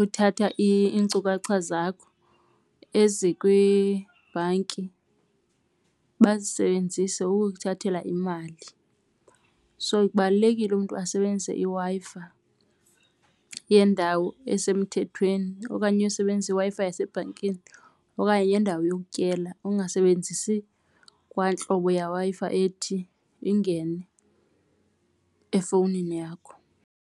uthatha iinkcukacha zakho ezikwibhanki bazisebenzise ukukuthathela imali. So kubalulekile umntu asebenzise iWi-Fi yendawo esemthethweni okanye usebenzisa iWi-Fi yasebhankini okanye yendawo yokutyela, ungasebenzisi kwantlobo yeWi-Fi ethi ingene efowunini yakho.